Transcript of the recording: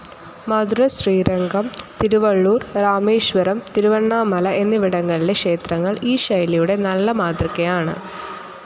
മധുര, ശ്രീരംഗം, തിരുവള്ളൂർ, രാമേശ്വരം, തിരുവണ്ണാമല എന്നിവിടങ്ങളിലെ ക്ഷേത്രങ്ങൾ ഈ ശൈലിയുടെ നല്ല മാതൃകയാണ്.